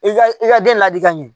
I ka i ka den ladi ka ɲɛ